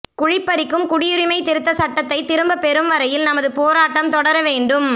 குழிபறிக்கும் குடியுரிமை திருத்தச் சட்டத்தை திரும்பப் பெறும் வரையில் நமது போராட்டம் தொடர வேண்டும்